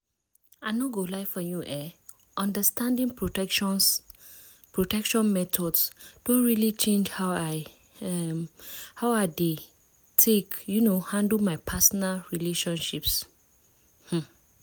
i no go lie for you eh understanding protection methods don really change how i um dey take um handle my personal relationships. um